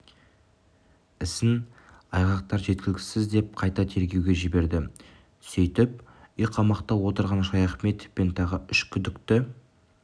ісін айғақтар жеткіліксіз деп қайта тергеуге жіберді сөйтіп үйқамақта отырған шаяхметов пен тағы үш күдікті